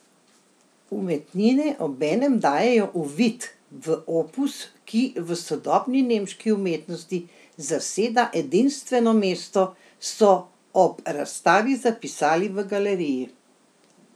Umetnine obenem dajejo uvid v opus, ki v sodobni nemški umetnosti zaseda edinstveno mesto, so ob razstavi zapisali v galeriji.